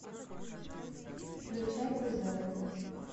включай кузены